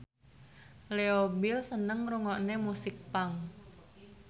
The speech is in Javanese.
Leo Bill seneng ngrungokne musik punk